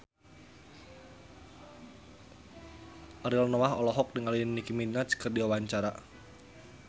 Ariel Noah olohok ningali Nicky Minaj keur diwawancara